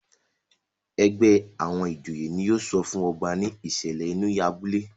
ègbé àwọn ìjòyè ní yóò sọfún ọba ní ìsèlè inú abúlé.